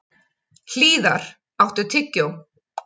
Hlíðar, áttu tyggjó?